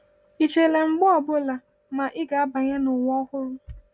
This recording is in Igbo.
Ị chela mgbe ọ bụla ma ị ga-abanye n’ụwa ọhụrụ?